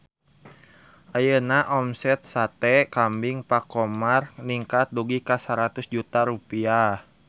Ayeuna omset Sate Kambing Pak Khomar ningkat dugi ka 100 juta rupiah